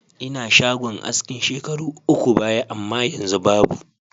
Inadshagon aski shekaru uku baya amma yanzu babu.